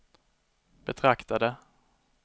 betraktade